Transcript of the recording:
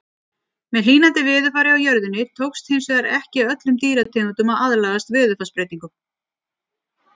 Með hlýnandi veðurfari á jörðinni tókst hins vegar ekki öllum dýrategundum að aðlagast veðurfarsbreytingum.